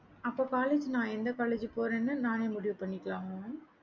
அப்ப college எந்த college போறேன்னு நாங்களே முடிவு பண்ணிக்கலாமா mam